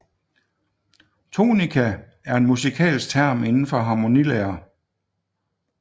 Tonika er en musikalsk term inden for harmonilære